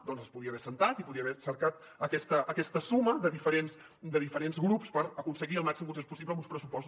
doncs s’hi podia haver assegut i podia haver cercat aquesta suma de diferents grups per aconseguir el màxim consens possible en uns pressupostos